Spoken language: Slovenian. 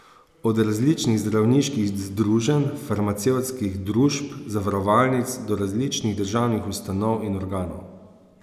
Od različnih zdravniških združenj, farmacevtskih družb, zavarovalnic, do različnih državnih ustanov in organov.